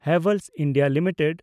Havells India limited